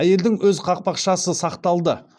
әйелдің өз қақпақшасы сақталды